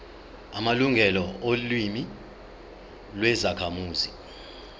amalungelo olimi lwezakhamuzi